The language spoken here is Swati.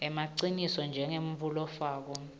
emaciniso njengemuntfu lofako